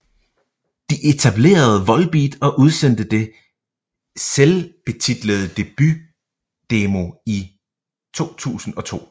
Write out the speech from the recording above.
De etablerede Volbeat og udsendte det selvbetitlede debutdemo i 2002